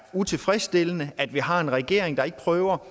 utilfredsstillende at vi har en regering der ikke prøver